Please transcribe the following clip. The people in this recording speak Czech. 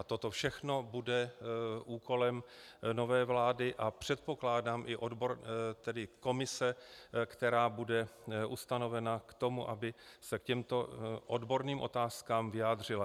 A toto všechno bude úkolem nové vlády a předpokládám i komise, která bude ustanovena k tomu, aby se k těmto odborným otázkám vyjádřila.